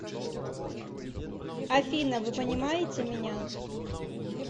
афина вы понимаете меня